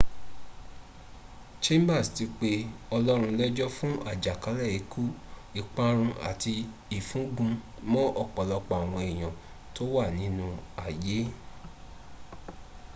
chambers ti pé ọlọ́run lẹ́jọ̀ fún àjàkálẹ̀ ikú ìparun àti ìfúngun mọ́ ọ̀pọ̀lọpọ̀ àwọn èèyàn tó wà nínú ay